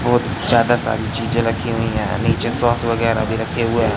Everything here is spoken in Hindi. बहोत ज्यादा सारी चीजें रखी हुई है नीचे सॉस वगैरा भी रखे हुए हैं।